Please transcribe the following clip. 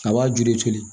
A b'a ju de toli